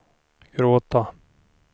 gråta